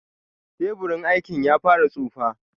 Teburin aikin ya fara tsufa.